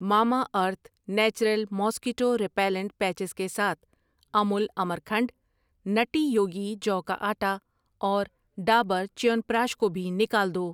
ماما ارتھ natural mosquito repellent patches کے ساتھ Amul amrakhand, nutty Yogi جو کا آٹا اور ڈابر چیونپراش کو بھی نکال دو۔